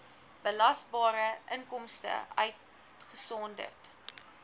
belasbare inkomste uitgesonderd